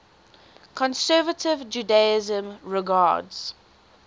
conservative judaism regards